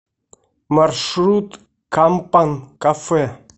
маршрут кампан кафе